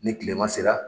Ni kilema sera